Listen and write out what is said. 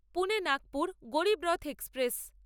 Pune Nagpur Garib Rath express